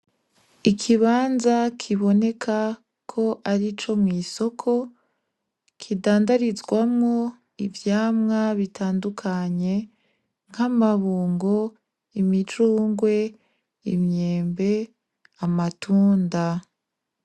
Ikibanza kiboneka karico mw'isoko kindandarizwamwo ivyama bitandukanye nk'amabungo, imicungwe, imyembe, amatunda.